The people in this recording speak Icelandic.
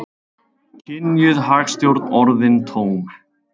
Kynjuð hagstjórn orðin tóm